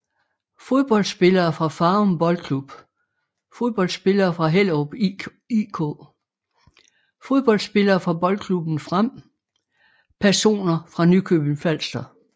Fodboldspillere fra Farum Boldklub Fodboldspillere fra Hellerup IK Fodboldspillere fra Boldklubben Frem Personer fra Nykøbing Falster